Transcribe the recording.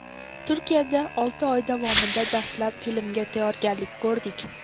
Turkiyada olti oy davomida dastlab filmga tayyorgarlik ko‘rdik.